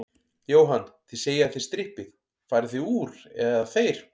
Jóhann: Þið segið að þið strippið, farið þið úr, eða þeir?